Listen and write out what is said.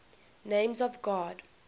names of god